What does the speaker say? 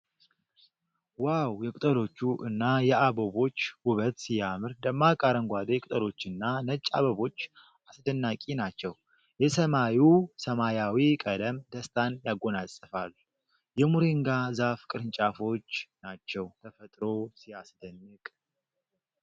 ዋው ! የቅጠሎቹ እና የአበቦች ውበት ሲያምር ! ደማቅ አረንጓዴ ቅጠሎችና ነጭ አበቦች አስደናቂ ናቸው ። የሰማዩ ሰማያዊ ቀለም ደስታን ያጎናፅፋል ። የሞሪንጋ ዛፍ ቅርንጫፎች ናቸው ። ተፈጥሮ ሲያስደንቅ!